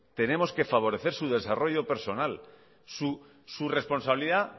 tenemos que favorecer su desarrollo personal su responsabilidad